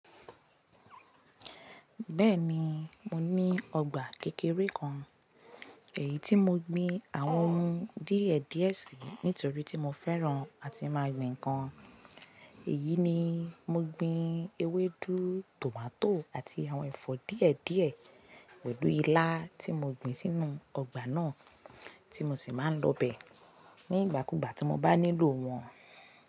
Bẹ́ẹ̀ni, mo ní ọgbà kékeré kan, èyí tí mo gbin àwọn ohun díẹ̀ díẹ̀ sí nítorí tí mo fẹ́ran àti máa gbìn nǹkan. Èyí ni mo gbin ewédú, tòmátò àti àwọn ẹ̀fọ́ díẹ̀ díẹ̀ pẹ̀lú ilá tí mo gbìn sínú ọgbà náà tí mo sì máa ń lọ bẹ̀ nígbàkúgbà tí mo bá nílò wọn.